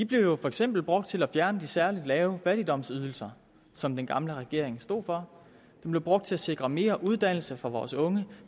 blev for eksempel brugt til at fjerne de særlig lave fattigdomsydelser som den gamle regering stod for de blev brugt til at sikre mere uddannelse for vores unge